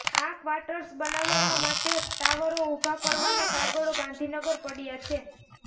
આ કવાટર્સ બનાવવા માટે ટાવરો ઉભા કરવાના કાગળો ગાંધીનગર પડયા છે